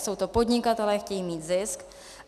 Jsou to podnikatelé, chtějí mít zisk.